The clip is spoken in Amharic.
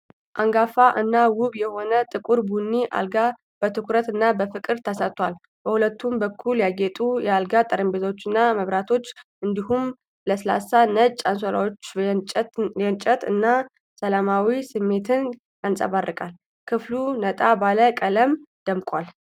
አንጋፋ እና ውብ የሆነ ጥቁር ቡኒ አልጋ በትኩረት እና በፍቅር ተሰርቷል። በሁለቱም በኩል ያጌጡ የአልጋ ጠረጴዛዎችና መብራቶች እንዲሁም ለስላሳ ነጭ አንሶላዎች የቅንጦት እና ሰላማዊ ስሜትን ያንጸባርቃሉ። ክፍሉ ነጣ ባለ ቀለም ደምቋል።